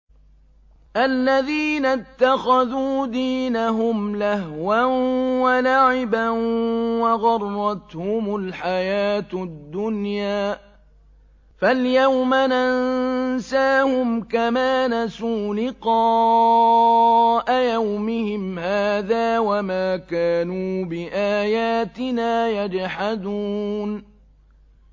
الَّذِينَ اتَّخَذُوا دِينَهُمْ لَهْوًا وَلَعِبًا وَغَرَّتْهُمُ الْحَيَاةُ الدُّنْيَا ۚ فَالْيَوْمَ نَنسَاهُمْ كَمَا نَسُوا لِقَاءَ يَوْمِهِمْ هَٰذَا وَمَا كَانُوا بِآيَاتِنَا يَجْحَدُونَ